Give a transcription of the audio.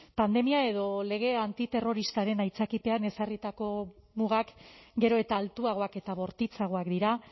pandemia edo legea antiterroristaren aitzakipean ezarritako mugak gero eta altuagoak eta bortitzagoak dira